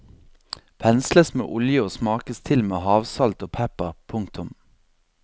Pensles med olje og smakes til med havsalt og pepper. punktum